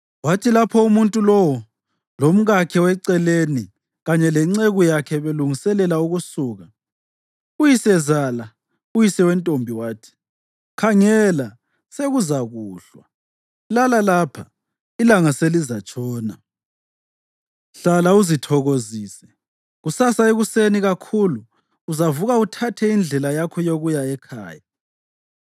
Kwathi lapho umuntu lowo, lomkakhe weceleni kanye lenceku yakhe belungiselela ukusuka, uyisezala, uyise wentombi wathi, “Khangela, sekuzakuhlwa. Lala lapha; ilanga selizatshona. Hlala uzithokozise. Kusasa ekuseni kakhulu uzavuka uthathe indlela yakho yokuya ekhaya.”